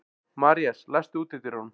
Marías, læstu útidyrunum.